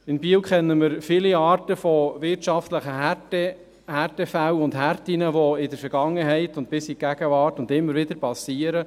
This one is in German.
In Biel kennen wir viele Formen wirtschaftlicher Härten, die in der Vergangenheit vorkamen und auch in der Gegenwart immer wieder vorkommen.